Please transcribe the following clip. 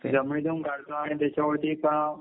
त्याच्यावरती का